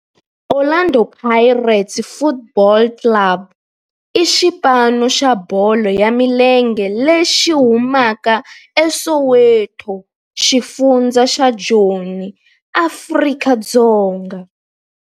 Orlando Pirates Football Club i xipano xa bolo ya milenge lexi humaka eSoweto, xifundzha xa Joni, Afrika-Dzonga.